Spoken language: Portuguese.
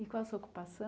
E qual a sua